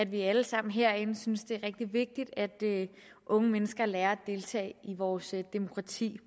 vi alle sammen herinde synes det er rigtig vigtigt at unge mennesker lærer at deltage i vores demokrati